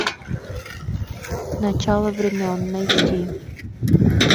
начало времен найти